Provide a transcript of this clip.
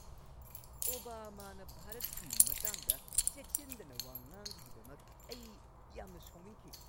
ꯑꯣꯕꯥꯃꯥꯅ ꯚꯥꯔꯠꯀꯤ ꯃꯇꯥꯡꯗ ꯆꯦꯛꯁꯤꯟꯗꯅ ꯋꯥ ꯉꯥꯡꯕꯒꯤꯗꯃꯛ ꯑꯩ ꯌꯥꯝꯅ ꯁꯥꯎꯅꯤꯡꯈꯤ꯫